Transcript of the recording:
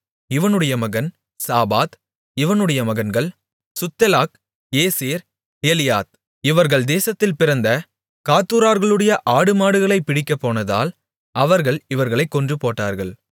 இவனுடைய மகன் சாபாத் இவனுடைய மகன்கள் சுத்தெலாக் ஏசேர் எலியாத் இவர்கள் தேசத்தில் பிறந்த காத்தூரார்களுடைய ஆடுமாடுகளைப் பிடிக்கப்போனதால் அவர்கள் இவர்களைக் கொன்றுபோட்டார்கள்